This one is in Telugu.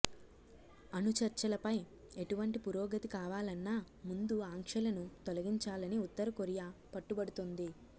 అణు చర్చలపై ఎటువంటి పురోగతి కావాలన్నా ముందు ఆంక్షలను తొలగించాలని ఉత్తరకొరియా పట్టుపడుతోంది